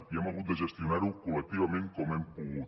i hem hagut de gestionar ho col·lectivament com hem pogut